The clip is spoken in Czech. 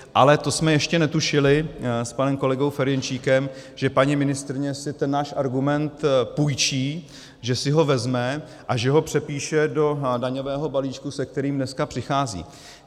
Ale to jsme ještě netušili s panem kolegou Ferjenčíkem, že paní ministryně si ten náš argument půjčí, že si ho vezme a že ho přepíše do daňového balíčku, se kterým dneska přichází.